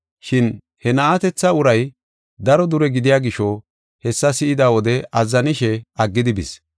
Shin he na7atetha uray daro dure gidiya gisho, hessa si7ida wode azzanishe aggidi bis.